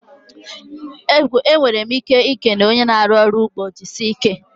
Enwere ike ikele one na-arụ ọrụ n'ugbo 'jisie ike'